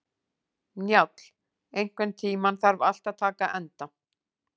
Njáll, einhvern tímann þarf allt að taka enda.